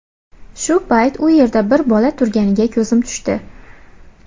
Shu paytda u yerda bir bola turganiga ko‘zim tushdi.